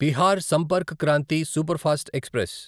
Bihar Sampark Kranti superfast express